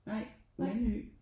Nej Mandø